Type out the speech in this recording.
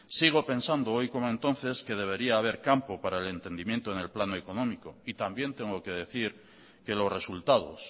sigo pensando hoy como entonces que debería haber campo para el entendimiento en el plano económico y también tengo que decir que los resultados